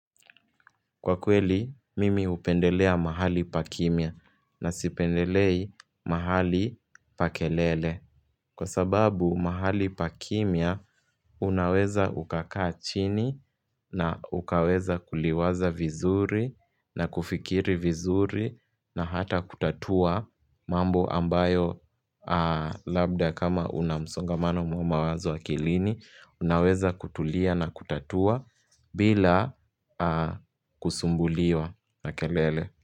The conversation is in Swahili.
Kwa kweli, mimi upendelea mahali pakimia na sipendelei mahali pakelele. Kwa sababu mahali pakimia unaweza ukakaa chini na ukaweza kuliwaza vizuri na kufikiri vizuri na hata kutatua mambo ambayo labda kama unamsongamano mwa mawazo akilini unaweza kutulia na kutatua bila kusumbuliwa na kelele.